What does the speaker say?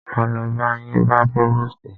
Máa lo ba yín bá próvòstì.